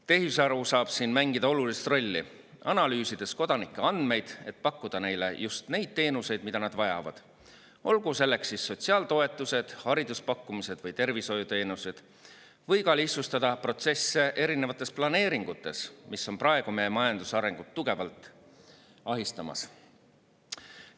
Tehisaru saab siin mängida olulist rolli, analüüsides kodanike andmeid, et pakkuda neile just neid teenuseid, mida nad vajavad, olgu nendeks siis sotsiaaltoetused, hariduspakkumised või tervishoiuteenused, või ka lihtsustada protsesse erinevates planeeringutes, mis on praegu meie majanduse arengut tugevalt ahistamas.